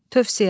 Tövsiyə.